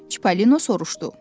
Çipallino soruşdu.